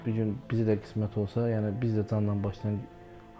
Bu gün bizi də qismət olsa, yəni biz də candan başlayıq.